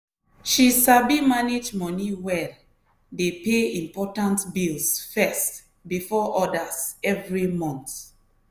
she sabi manage money well dey pay important bills first before others every month.